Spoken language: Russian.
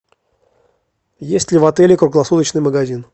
есть ли в отеле круглосуточный магазин